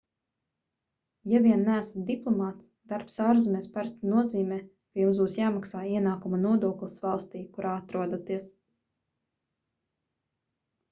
ja vien neesat diplomāts darbs ārzemēs parasti nozīmē ka jums būs jāmaksā ienākuma nodoklis valstī kurā atrodaties